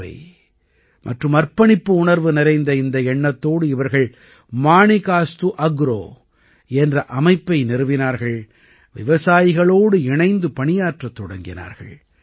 சேவை மற்றும் அர்ப்பணிப்பு உணர்வு நிறைந்த இந்த எண்ணத்தோடு இவர்கள் மாணிகாஸ்து அக்ரோ என்ற அமைப்பை நிறுவினார்கள் விவசாயிகளோடு இணைந்து பணியாற்றத் தொடங்கினார்கள்